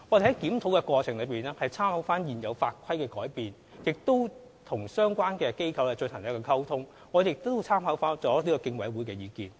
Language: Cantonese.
在檢討過程中，我們參考現有法規的改變，與相關機構溝通，並諮詢競委會的意見。